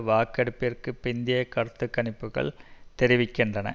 வாக்கெடுப்பிற்கு பிந்திய கருத்து கணிப்புக்கள் தெரிவிக்கின்றன